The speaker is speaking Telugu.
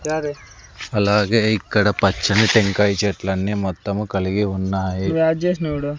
అలాగే ఇక్కడ పచ్చని టెంకాయ చెట్లన్నీ మొత్తము కలిగి ఉన్నాయి.